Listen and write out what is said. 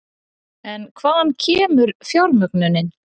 En hvaðan kemur fjármögnunin?